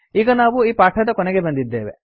ಈಗ ನಾವು ಈ ಪಾಠದ ಕೊನೆಗೆ ಬಂದಿದ್ದೇವೆ